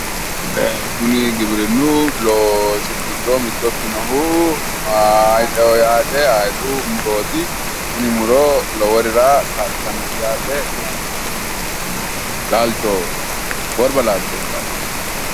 kuri giwirinnu loosi giddo mitto ikkinohu hayiixeho yaate hayiixu murooti tini muro loworira kaa'litannote laalchoho worba laalchooti yaate